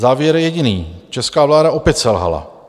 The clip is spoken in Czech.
Závěr je jediný: česká vláda opět selhala.